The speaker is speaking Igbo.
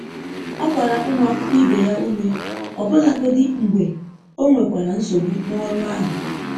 Ọ gbara ụmụ akwụkwọ ibe ya ume, ọbụlagodi mgbe o nwekwara nsogbu n'ọrụ ahụ.